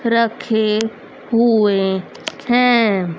रखे हुए हैं।